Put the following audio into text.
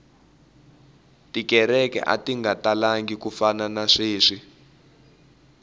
tikereke ati nga talangi ku fana na sweswi